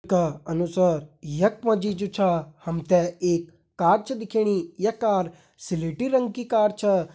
का अनुसार यख मा जी जु छा हम ते एक कार छ दिखेणी या कार स्लेटी रंग की कार छा।